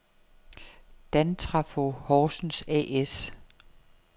Dantrafo Horsens A/S